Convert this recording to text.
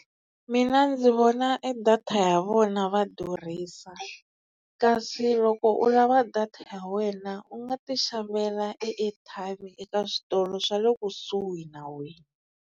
Mina ndzi vona e data ya vona va durhisa kasi loko u lava data ya wena u nga ti xavela e airtime eka switolo swa le kusuhi na wena.